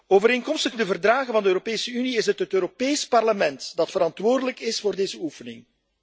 Overeenkomstig de Verdragen van de Europese Unie is het Europees Parlement verantwoordelijk voor deze oefening.